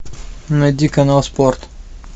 найди канал спорт